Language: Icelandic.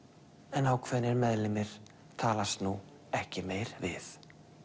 en ákveðnir meðlimir talast nú ekki meir við